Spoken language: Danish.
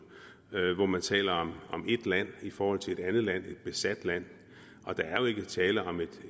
hvor man taler om et land i forhold til et andet land et besat land og der er jo ikke tale om et